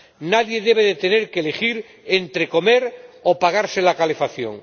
Nadie debe tener que elegir entre comer o pagarse la calefacción.